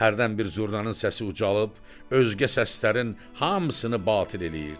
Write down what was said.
Hərdən bir zurnanın səsi ucalıb, özgə səslərin hamısını batil eləyirdi.